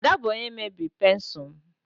Ada bụ onye mebiri pensụl m